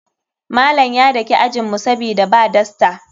Malam ya daki ajinmu sabida ba dasta.